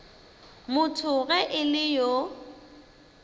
motho ge e le yo